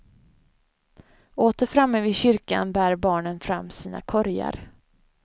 Åter framme vid kyrkan bär barnen fram sina korgar.